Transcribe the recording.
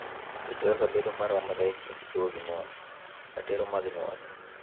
Weche kaka bedo maromre e kind chwo gi mon, ratiro mag nyuol,